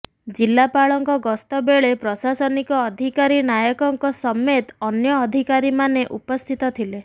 ଜିଲାପାଳଙ୍କ ଗସ୍ତ ବେଳେ ପ୍ରଶାସନିକ ଅଧିକାରୀ ନାୟକଙ୍କ ସମେତ ଅନ୍ୟ ଅଧିକାରୀମାନେ ଉପସ୍ଥିତ ଥିଲେ